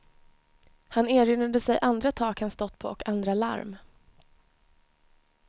Han erinrade sig andra tak han stått på och andra larm.